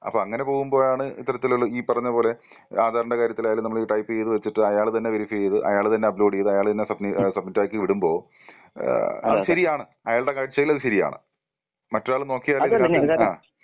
അപ്പോ അങ്ങനെ പോവുമ്പോഴാണ് ഇത്തരത്തിലുള്ള ഈ പറഞ്ഞ പോലെ ആധാറിന്റെ കാര്യത്തിലായാലും നമ്മൾ ഈ ടൈപ്പ് ചെയ്തു വെച്ചിട്ട് അയാൾ തന്നെ വെരിഫൈ ചെയ്ത് അയാൾ തന്നെ അപ്ലോഡ് ചെയ്ത് അയാൾ തന്നെ സബ്മിറ്റ് സബ്മിറ്റാക്കി വിടുമ്പോ ഏഹ് അത് ശരിയാണ് അയാളുടെ കാഴ്ചയിൽ അത് ശരിയാണ്. മറ്റൊരാള് നോക്കിയാൽ ഇതിനകത്ത് ആ.